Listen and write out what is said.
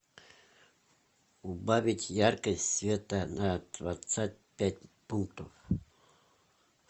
убавить яркость света на двадцать пять пунктов